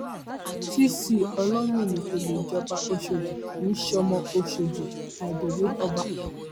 cc olomini kó lè jọba ọṣọdì kì í sọmọ ọṣọdì adelé ọba